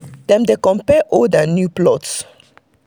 dem dey compare old an new plot.